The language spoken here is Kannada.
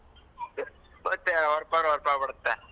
But ಅವ್ರ್ ಬಿಡತ್ತೆ.